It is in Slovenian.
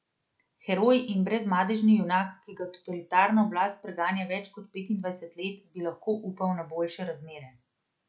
Heroj in brezmadežni junak, ki ga totalitarna oblast preganja več kot petindvajset let, bi lahko upal na boljše razmerje.